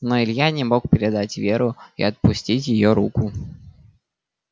но илья не мог предать веру и отпустить её руку